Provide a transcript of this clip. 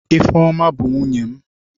Ifeoma bu nwunye m.